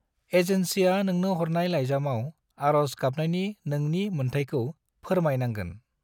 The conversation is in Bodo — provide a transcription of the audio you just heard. एजेन्सिया नोंनो हरनाय लाइजामाव आरज गाबनायनि नोंनि मोनथायखौ परमाय नांगोन।